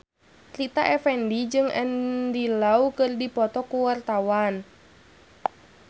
Rita Effendy jeung Andy Lau keur dipoto ku wartawan